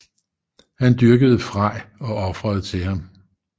Han dyrkede Frej og ofrede til ham